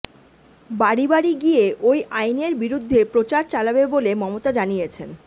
বাড়ি বাড়ি গিয়ে ওই আইনের বিরুদ্ধে প্রচার চালাবে বলে মমতা জানিয়েছেন